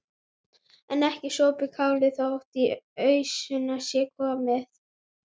En ekki er sopið kálið þótt í ausuna sé komið.